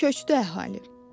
Köçdü əhali.